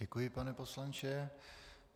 Děkuji, pane poslanče.